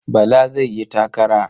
Bala zai yi takara.